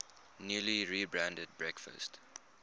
newly rebranded breakfast